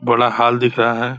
बड़ा हॉल दिख रहा है।